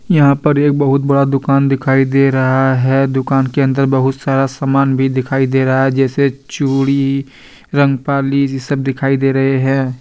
यहां पर एक बहुत बड़ा दुकान दिखाई दे रहा है दुकान के अंदर बहुत सारा सामान भी दिखाई दे रहा है जैसे चूड़ी रंगपाली जे सब दिखाई दे रहे हैं।